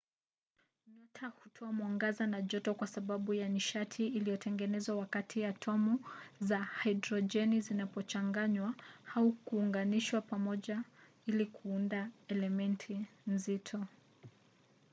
nyota hutoa mwangaza na joto kwa sababu ya nishati inayotengenezwa wakati atomu za hidrojeni zinapochanganywa au kuunganishwa pamoja ili kuunda elementi nzito